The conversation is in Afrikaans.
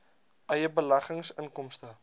eie beleggings inkomste